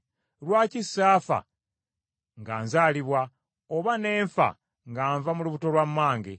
“Lwaki saafa nga nzalibwa, oba ne nfa nga nva mu lubuto lwa mmange?